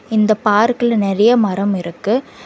இந்த பார்க்ல நெறைய மரம் இருக்கு.